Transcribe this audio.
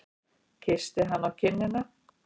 Kyssi hana á kinnina.